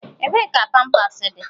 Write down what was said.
Ebee ka pampas dị?